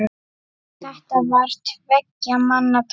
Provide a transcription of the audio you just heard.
Þetta var tveggja manna tal.